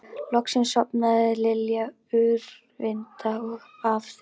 Loksins sofnaði Lilla úrvinda af þreytu.